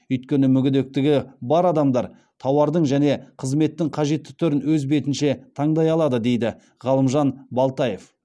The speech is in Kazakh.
өйткені мүгедектігі бар адамдар тауардың және қызметтің қажетті түрін өз бетінше таңдай алады дейді ғалымжан балтаев